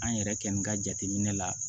An yɛrɛkɛni ka jateminɛ la